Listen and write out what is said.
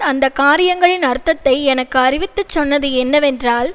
அந்த காரியங்களின் அர்த்தத்தை எனக்கு அறிவித்துச் சொன்னது என்னவென்றால்